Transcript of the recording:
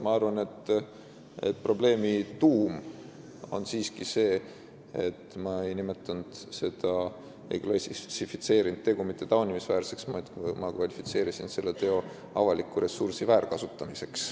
Ma arvan, et probleemi tuum on siiski see, et ma ei klassifitseerinud seda tegu mitte taunimisväärseks, vaid kvalifitseerisin selle teo avaliku ressursi väärkasutamiseks.